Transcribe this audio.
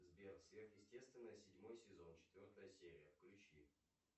сбер сверхъестественное седьмой сезон четвертая серия включи